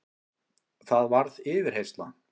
Það varð yfirheyrsla.